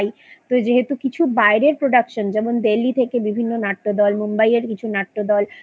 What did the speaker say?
তো যেহেতু কিছু বায়রের Production যেমন Delhi থেকে বিভিন্ন নাট্যদল Mumbai এর কিছু নাট্যদল